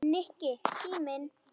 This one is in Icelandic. Nikki, síminn